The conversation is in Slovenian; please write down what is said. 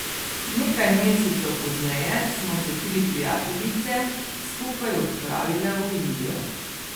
Nekaj mesecev pozneje smo se tri prijateljice skupaj odpravile v Indijo.